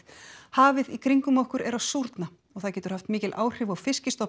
hafið í kringum okkur er að súrna og það getur haft mikil áhrif á